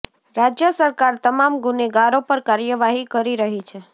રાજ્ય સરકાર તમામ ગુનેગારો પર કાર્યવાહી કરી રહી છે